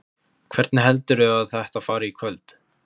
Hvernig heldurðu að þetta fari í kvöld?